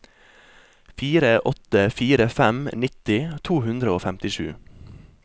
fire åtte fire fem nitti to hundre og femtisju